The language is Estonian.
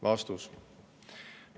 " Vastus.